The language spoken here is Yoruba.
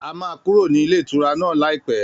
A máa kúrò ní ilé ìtura náà láìpẹ́